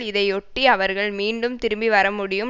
இதையொட்டி அவர்கள் மீண்டும் திரும்பி வரமுடியும்